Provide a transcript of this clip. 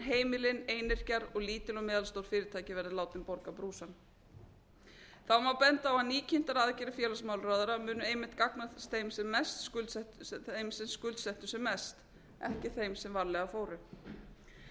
heimilin einyrkjar og lítil og meðalstór fyrirtæki verði látin borga brúsann þá má benda á að nýkynntar aðgerðir félagsmálaráðherra munu einmitt gagnast þeim sem skuldsettu sig mest ekki þeim sem varlega fóru